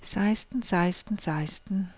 seksten seksten seksten